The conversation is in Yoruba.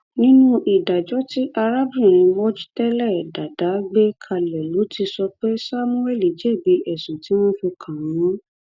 nínú ìdájọ tí arábìnrin mojtele dada gbé kalẹ ló ti sọ pé samuel jẹbi ẹsùn tí wọn fi kàn án